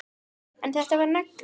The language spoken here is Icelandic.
En þetta var negla.